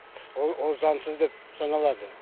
ол ол заңсыз деп саналады